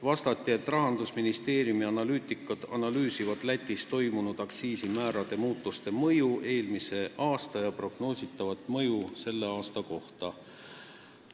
Vastati, et Rahandusministeeriumi analüütikud analüüsivad Lätis toimunud aktsiisimäärade muutuse mõju eelmisel aastal ja prognoositavat mõju tänavu.